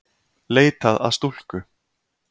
Leitað að stúlku